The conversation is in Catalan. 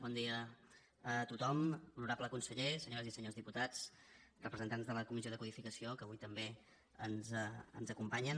bon dia a tothom honorable conseller senyores i senyors diputats representants de la comissió de codificació que avui també ens acompanyen